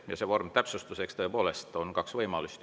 Ja selle vormi täpsustuseks, et tõepoolest on kaks võimalust.